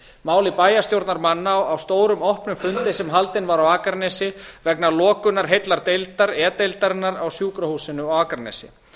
máli bæjarstjórnarmanna á stórum opnum fundi sem haldinn var á akranesi vegna lokunar heillar deildar e deildarinnar á sjúkrahúsinu á akranesi